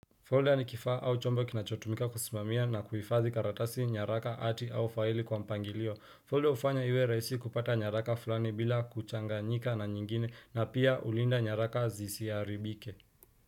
Folder ni kifaa au chombo kinachotumika kusimamia na kuifadhi karatasi nyaraka ati au faili kwa mpangilio. Folder ufanya iwe raisi kupata nyaraka fulani bila kuchanganyika na nyingine na pia ulinda nyaraka zisiyaribike.